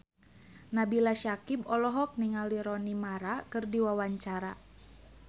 Nabila Syakieb olohok ningali Rooney Mara keur diwawancara